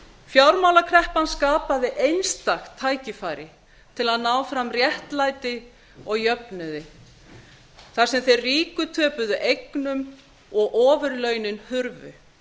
fjármálakreppan skapaði einstakt tækifæri til að ná fram réttlæti og jöfnuði þar sem þeir ríku töpuðu eignum og ofurlaunin hurfu